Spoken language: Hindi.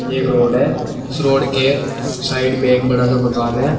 एक रोड है इस रोड के साइड में एक बड़ा सा मकान है।